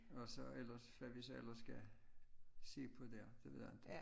Og så ellers hvad vi så ellers skal se på dér det ved jeg ikke